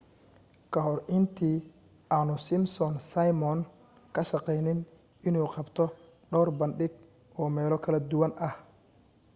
kahor intii aanu simpson simon ka shaqaynin inuu qabto dhawr bandhig oo meelo kala duwan ah